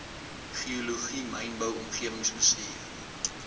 geologie mynbou omgewingsbestuur